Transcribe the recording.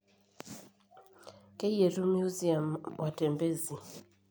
Keyietu museum watembezi